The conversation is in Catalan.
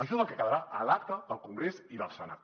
això és el que quedarà a l’acta del congrés i del senat